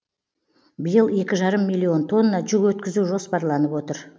биыл екі жарым миллион тонна жүк өткізу жоспарланып отыр